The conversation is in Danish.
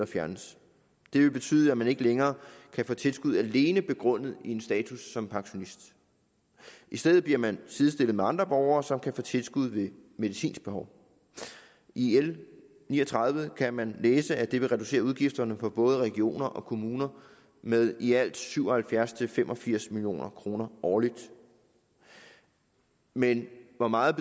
fjernes det vil betyde at man ikke længere kan få tilskud alene begrundet i en status som pensionist i stedet bliver man sidestillet med andre borgere som kan få tilskud ved medicinsk behov i l ni og tredive kan man læse at det vil reducere udgifterne for både regioner og kommuner med i alt syv og halvfjerds til fem og firs million kroner årligt men hvor meget